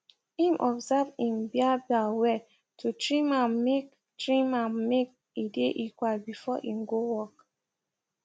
im observe im biabia well to trim ammake trim ammake e dae equal before im go work